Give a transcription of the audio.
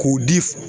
K'o di